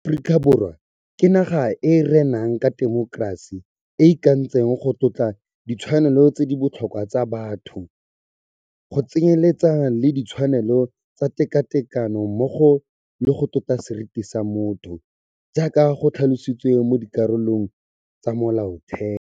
Aforika Borwa ke naga e e renang ka temokerasi, e e ikantseng go tlotla ditshwanelo tse di botlhokwa tsa batho, go tsenyeletsa le ditshwanelo tsa tekatekano mmogo le go tlotla seriti sa motho, jaaka go tlhalositswe mo dikarolong tsa Molaotheo.